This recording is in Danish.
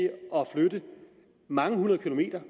flytte mange hundrede kilometer